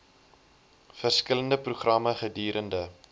verskillende programme gedurende